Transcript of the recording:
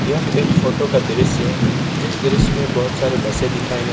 यह एक फोटो का दृश्य है जिस दृश्य में बहोत सारे बसें दिखाए गए--